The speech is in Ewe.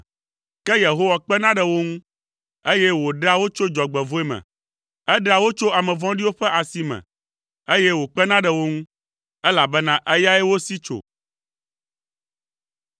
Ke Yehowa kpena ɖe wo ŋu, eye wòɖea wo tso dzɔgbevɔ̃e me; eɖea wo tso ame vɔ̃ɖiwo ƒe asi me, eye wòkpena ɖe wo ŋu, elabena eyae wosi tso.